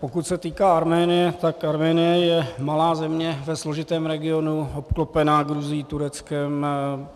Pokud se týká Arménie, tak Arménie je malá země ve složitém regionu, obklopená Gruzií, Tureckem.